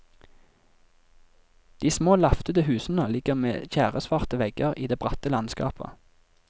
De små laftede husene ligger med tjæresvarte vegger i det bratte landskapet.